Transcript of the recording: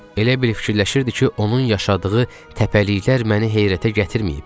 Elə bil fikirləşirdi ki, onun yaşadığı təpəliklər məni heyrətə gətirməyib.